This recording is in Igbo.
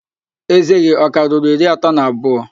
Ézé gị ọ ka ruru iri atọ na abụọ?